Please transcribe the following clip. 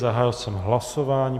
Zahájil jsem hlasování.